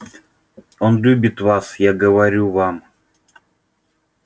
он любит вас я говорю вам